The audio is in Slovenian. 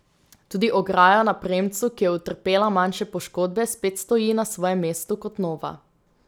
Tudi ograja na premcu, ki je utrpela manjše poškodbe, spet stoji na svojem mestu kot nova.